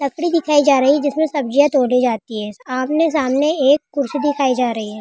लकड़ी दिखाई जा रही है जिसमें सब्जी तोड़ी जाती है आमने-सामने एक कुर्सी दिखाई जा रही है।